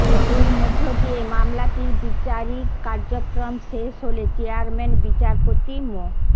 এর মধ্য দিয়ে মামলাটির বিচারিক কার্যক্রম শেষ হলে চেয়ারম্যান বিচারপতি মো